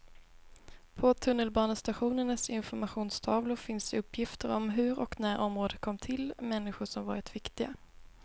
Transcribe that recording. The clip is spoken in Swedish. På tunnelbanestationernas informationstavlor finns uppgifter om hur och när området kom till, människor som varit viktiga.